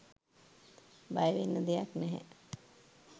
බයවෙන්න දෙයක් නැහැ